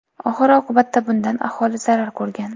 Oxir oqibatda bundan aholi zarar ko‘rgan.